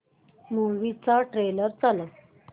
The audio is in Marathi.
मूवी चा ट्रेलर चालव